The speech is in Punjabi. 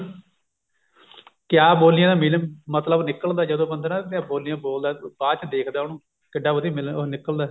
ਕਿਆ ਬੋਲੀਆਂ ਦਾ mean ਮਤਲਬ ਨਿਕਲਦਾ ਜਦੋਂ ਬੰਦਾ ਨਾ ਆਪਣੀਆਂ ਬੋਲੀਆਂ ਬੋਲਦਾ ਬਾਅਦ ਚ ਦੇਖਦਾ ਉਹਨੂੰ ਕਿੱਢਾ ਵਧੀਆ ਮੀ ਉਹ ਨਿਕਲਦਾ